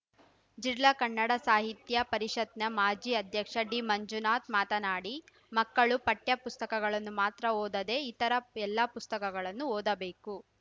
ಜಿಲ್ಲಾ ಕನ್ನಡ ಸಾಹಿತ್ಯ ಪರಿಷತ್‌ನ ಮಾಜಿ ಅಧ್ಯಕ್ಷ ಡಿ ಮಂಜುನಾಥ್‌ ಮಾತನಾಡಿ ಮಕ್ಕಳು ಪಠ್ಯ ಪುಸ್ತಕಗಳನ್ನು ಮಾತ್ರ ಓದದೇ ಇತರ ಎಲ್ಲ ಪುಸ್ತಕಗಳನ್ನು ಓದಬೇಕು